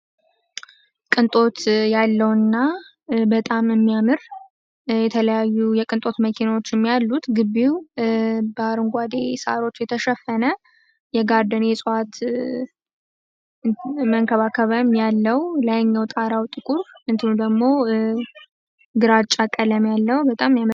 ቅንጦት ያለውና በጣም የሚያምሩ የተለያዩ የቅንጦት መኪናዎች ያሉት ግቢው በአረንጓሮች ሳሮች የተሸፈነ የጋራ የጋርደን የጽዋት መንከባከብ ያለው ጣራው ጥቁር ግርግዳ ደግሞ ግራጫ ቀለም ያለው ሆኖ በጣም ያምራል።